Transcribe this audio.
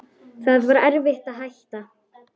Það var erfitt að hætta.